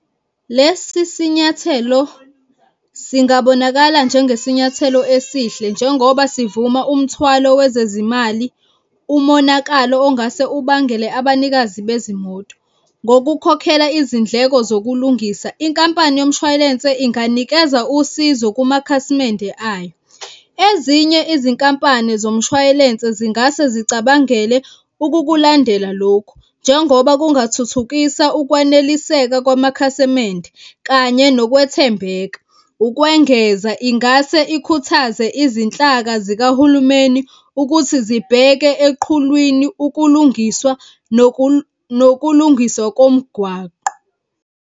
Lesi sinyathelo singabonakala njengesinyathelo esihle njengoba sivuma umthwalo wezezimali umonakalo ongase ubangele abanikazi bezimoto. Ngokukhokhela izindleko zokulungisa, inkampani yomshwalense inganikeza usizo kumakhasimende ayo. Ezinye izinkampani zomshwayilense zingase zicabangele ukukulandela lokhu njengoba kungathuthukisa ukwaneliseka kwamakhasimende kanye nokwethembeka. Ukwengeza, ingase ikhuthaze izinhlaka zikahulumeni ukuthi zibheke eqhulwini ukulungiswa nokulungiswa komgwaqo.